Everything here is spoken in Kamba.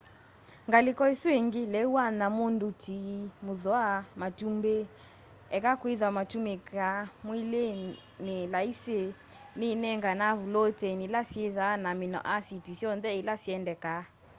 ngaliko isu ingi leũ wa nyamu nduti muthwa matumbi eka kwitha matumikaa mwiini laisi ni inenganae vuloteini ila syithaa na amino asiti syonthe ila syendekaa